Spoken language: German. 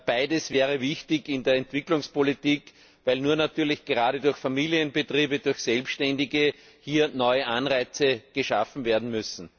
Beides wäre wichtig in der Entwicklungspolitik, weil natürlich gerade durch Familienbetriebe, durch Selbständige, hier neue Anreize geschaffen werden müssen.